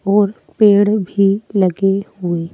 और पेड़ भी लगे हुए--